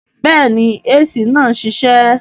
Bẹ́ẹ̀ni AC náà ń ṣiṣẹ́